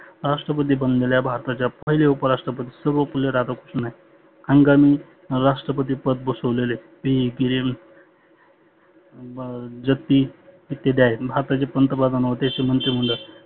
राष्ट्रपती बनलेल्या भारताच्या पहिले उपराष्ट्रपती सर्वपल्ली राधाकृष्ण आहे. हंगामी राष्ट्रपती पद घोषवलेले पिल्गिरी जगदीश ते आहेत. भारताचे पंतप्रधान व त्यांचे मंत्री मंडळ